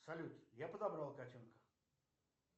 салют я подобрал котенка